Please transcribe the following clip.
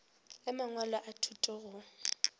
le mangwalo a thuto go